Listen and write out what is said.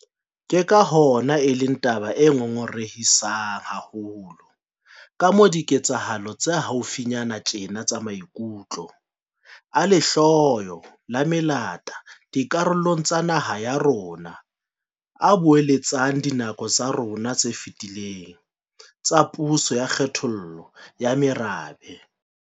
Ke ka hona e leng taba e ngongorehisang haholo kamoo diketsahalo tsa haufinyane tjena tsa maikutlo a lehloyo la melata dikarolong tsa naha ya rona a boeletsang dinako tsa rona tse fetileng tsa puso ya kgethollo ya merabe.